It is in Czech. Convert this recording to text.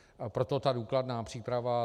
Proto ta důkladná příprava.